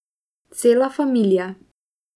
Cela familija.